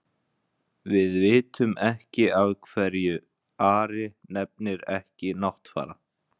Við vitum ekki af hverju Ari nefnir ekki Náttfara.